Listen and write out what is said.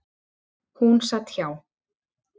Hún sat hjá.